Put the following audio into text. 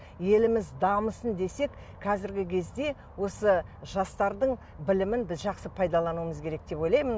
еліміз дамысын десек қазіргі кезде осы жастардың білімін біз жақсы пайдалануымыз керек деп ойлаймын